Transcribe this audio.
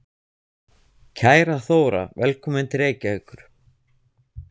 Kæra Þóra. Velkomin til Reykjavíkur.